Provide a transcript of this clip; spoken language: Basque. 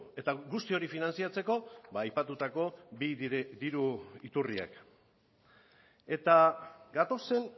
eta guzti hori finantzatzeko aipatutako bi diru iturriak eta gatozen